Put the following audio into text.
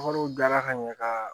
Wariw dilara ka ɲɛ ka